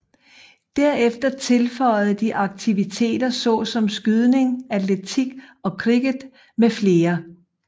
Derefter tilføjede de aktiviteter såsom skydning atletik og cricket med flere